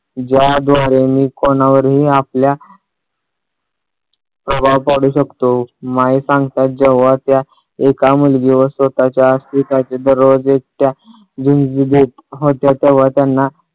ज्याद्वारे मी कोणावरही आपल्या प्रभाव पाडू शकतो. माई सांगतात जेव्हा त्या एका मुलगीवर स्वतःच्या अस्तित्वाचे दरवाजे त्या होत्या तेव्हा त्यांना